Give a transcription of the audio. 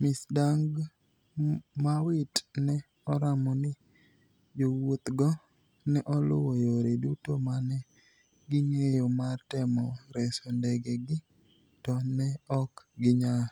Ms. Dagmawit ne oramo ni jowuothgo ne oluwo yore duto ma ne ging'eyo mar temo reso ndegegi, to ne ok ginyal.